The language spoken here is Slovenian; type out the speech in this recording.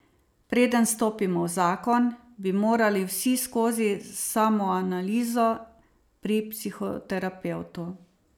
Preden stopimo v zakon, bi morali vsi skozi samoanalizo pri psihoterapevtu.